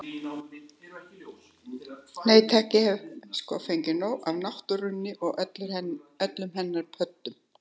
Nei takk, ég hef sko fengið nóg af náttúrunni og öllum hennar pöddum.